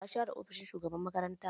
Wa ya share ofishin shugaban makaranta?